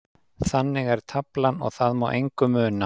Þannig er taflan og það má engu muna.